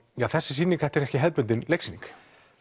þessi sýning þetta er ekki hefðbundin leiksýning